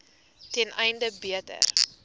ten einde beter